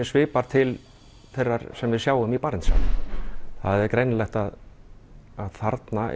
svipar til þeirrar sem við sjáum í Barentshafi það er greinilegt að þarna